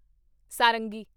ਸਾਰੰਗੀ